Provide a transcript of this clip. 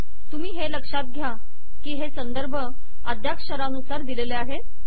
तुम्ही हे लक्ष्यात घ्या की हे संदर्भ अद्यक्षरानुसार दिलेले आहे